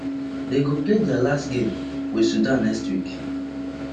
dey go play dia last game wit sudan next week